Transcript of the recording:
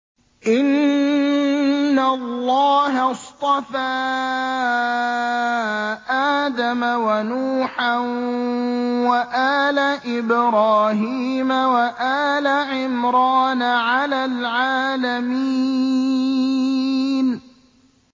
۞ إِنَّ اللَّهَ اصْطَفَىٰ آدَمَ وَنُوحًا وَآلَ إِبْرَاهِيمَ وَآلَ عِمْرَانَ عَلَى الْعَالَمِينَ